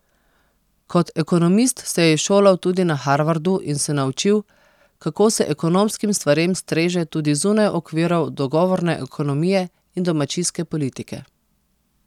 Kot ekonomist se je izšolal tudi na Harvardu in se naučil, kako se ekonomskim stvarem streže tudi zunaj okvirov dogovorne ekonomije in domačijske politike.